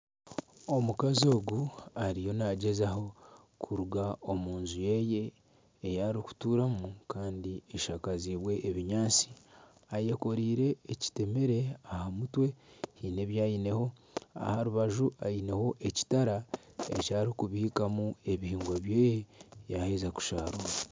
Omukazi ogu ariyo nagyezaho kuruga omunju yeye eyarikuturamu Kandi eshakazibwe ebinyaatsi , ayekoreire ekitemere aha mutwe hiine ebyaineho aha rubaju aineho ekitara eki arikubiikamu ebihingwa byeye yaheza kushaarura.